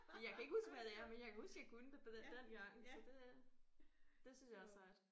Jeg kan ikke huske hvad det er men jeg kan huske jeg kunne det på den dengang så det det synes jeg er sejt